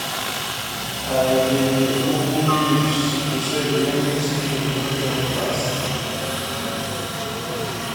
i dey dey ugu leaves to sell when the season don don pass.